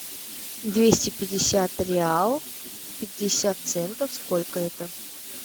двести пятьдесят реал пятьдесят центов сколько это